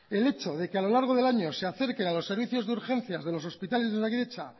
el hecho de que a lo largo del año se acerquen a los servicios de urgencias de los hospitales de osakidetza